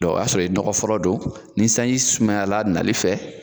Dɔ o y'a sɔrɔ i ye fɔlɔ don ni sanji sumayala nali fɛ